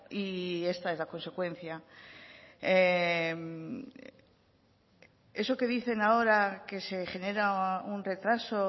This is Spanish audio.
y esta es la consecuencia eso que dicen ahora que se genera un retraso